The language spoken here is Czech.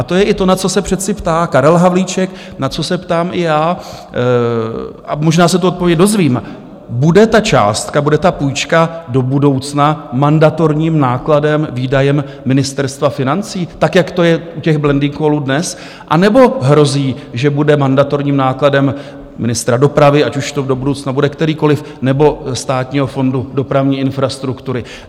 A to je i to, na co se přece ptá Karel Havlíček, na co se ptám i já, a možná se tu odpověď dozvím: Bude ta částka, bude ta půjčka do budoucna mandatorním nákladem, výdajem Ministerstva financí, tak jak to je u těch blending callů dnes, anebo hrozí, že bude mandatorním nákladem ministra dopravy, ať už to do budoucna bude kterýkoliv, nebo Státního fondu dopravní infrastruktury?